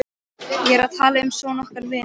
Ég er að tala um son okkar, vina mín.